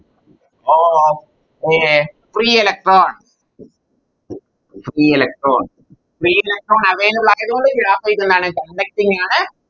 Of a free electron Free electron free electron available ആയത്കൊണ്ട് Graphite എന്താണ് conducting ആണ്